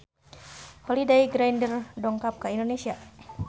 Holliday Grainger dongkap ka Indonesia